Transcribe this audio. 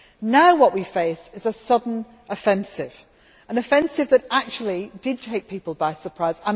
Now what we face is a sudden offensive, an offensive that actually did take people by surprise.